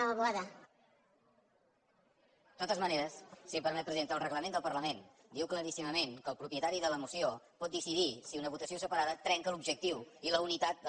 de totes maneres si em permet presidenta el reglament del parlament diu claríssimament que el propietari de la moció pot decidir si una votació separada trenca l’objectiu i la unitat de la